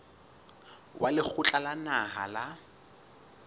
wa lekgotla la naha la